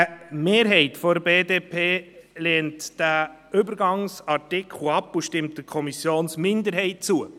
» Eine Mehrheit der BDP lehnt diesen Übergangsartikel ab und stimmt der Kommissionsminderheit zu.